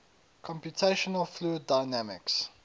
computational fluid dynamics